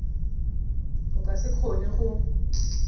o ka se kgone go